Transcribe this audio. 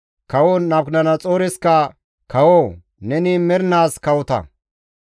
Kawo Nabukadanaxooreskka, «Kawoo! Neni mernaas kawota!